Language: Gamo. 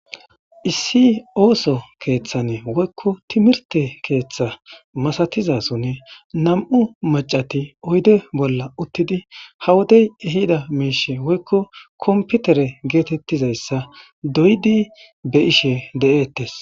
Issi oso kethan woyko timirte ketha masatizason nam'u macati oyide bolla uttidi ha wodey ehida mishe woykon kompitere getetizaysa doyidi be'ishe de'etes